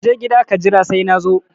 Kaje gida ka jira sai nazo